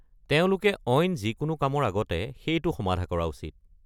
তেওঁলোকে অইন যিকোনো কামৰ আগতে সেইটো সমাধা কৰা উচিত।